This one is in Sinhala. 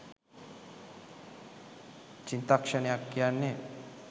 "චිත්තක්ෂණයක්" කියන්නේ